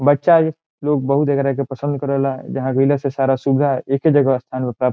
बच्चा लोग बहुत देख रहा है जे पसंद करेवला जहाँ गइला से सारा सुविधा है एके जगह --